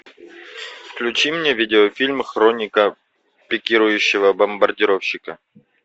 включи мне видеофильм хроника пикирующего бомбардировщика